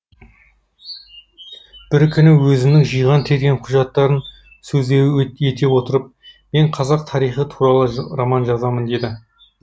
бір күні өзінің жиған терген құжаттарын сөз ете отырып мен қазақ тарихы туралы роман жазамын деді